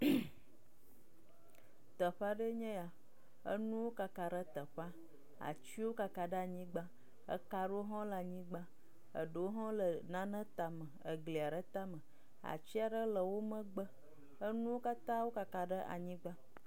Teƒe aɖee nye ya enuwo kakak ɖe teƒea. Atsiwo kaka ɖe anyigba eka aɖewo hã le anyigba. Eɖewo hã le nane tame. Egli aɖe tame atsi aɖe le wo megbe enuwo katã kaka ɖe anyigba.